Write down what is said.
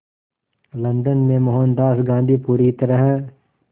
London में मोहनदास गांधी पूरी तरह